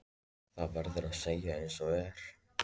Það verður að segjast einsog er.